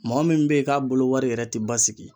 Mɔgɔ min be yen k'a bolo wari yɛrɛ te basigi